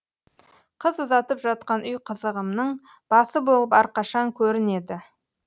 қыз ұзатып жатқан үй қызығымның басы болып әрқашан көрінеді